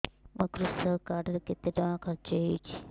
ମୋ କୃଷକ କାର୍ଡ ରେ କେତେ ଟଙ୍କା ଖର୍ଚ୍ଚ ହେଇଚି